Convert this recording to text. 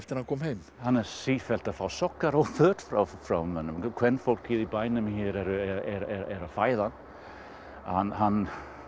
hann kom heim hann er sífellt að fá sokka og föt frá frá mönnum kvenfólkið í bænum er að fæða hann hann